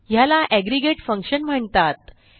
ह्याला aggregate function म्हणतात